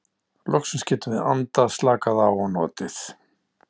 Loksins getum við andað, slakað á og notið.